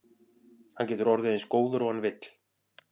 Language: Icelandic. Hann getur orðið eins góður og hann vill.